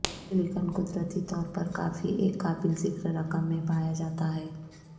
silicon قدرتی طور پر کافی ایک قابل ذکر رقم میں پایا جاتا ہے